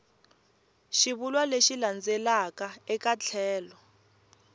xivulwa lexi landzelaka eka tlhelo